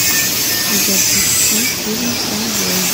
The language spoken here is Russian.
запусти фильм конвой